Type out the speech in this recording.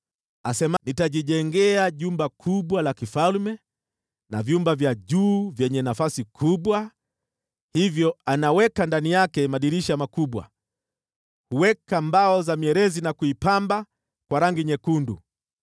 Asema, ‘Nitajijengea jumba kuu la kifalme, na vyumba vya juu vyenye nafasi kubwa.’ Hivyo anaweka ndani yake madirisha makubwa, huweka kuta za mbao za mierezi, na kuipamba kwa rangi nyekundu.